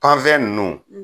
Panfɛn nunnu